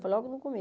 Foi logo no